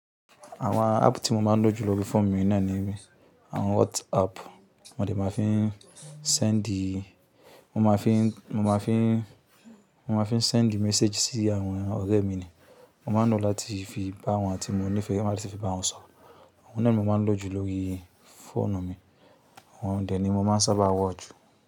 Àwọn app tí mo máa ń lò ju l lórí fóònù mi naa ni, àwọn WhatsApp mo dẹ máa fi ń sendi, mo máa fi ń, mo máa fi ń, mo máa fi ń sendi message sí àwọn ọ̀rẹ́ mi ni. Mo máa ń lò láti fi báwọn tí mo nífẹ̀ẹ́, lati fi báwọn sọ̀rọ̀. Òun náà ni mo máa ń lò jùlọ lórí fóònù mi. Òun dè ni mo máa ń sábà wọ̀ jù.